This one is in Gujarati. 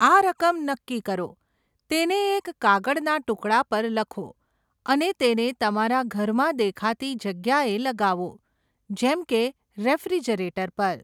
આ રકમ નક્કી કરો, તેને એક કાગળના ટુકડા પર લખો અને તેને તમારા ઘરમાં દેખાતી જગ્યાએ લગાવો, જેમ કે રેફ્રિજરેટર પર.